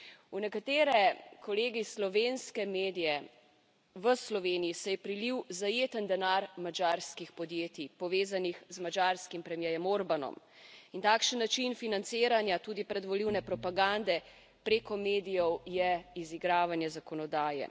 V nekatere, kolegi, slovenske medije v Sloveniji se je prilil zajeten denar madžarskih podjetij, povezanih z madžarskim premierjem Orbanom, in takšen način financiranja tudi predvolilne propagande preko medijev je izigravanje zakonodaje.